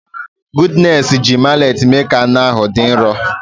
Goodness ji mallet mee ka anụ ahụ dị nro.